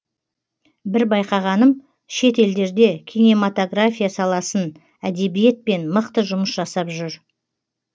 бір байқағаным шет елдерде кинематография саласын әдебиетпен мықты жұмыс жасап жүр